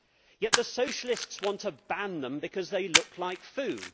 Yet the Socialists want to ban them because they look like food.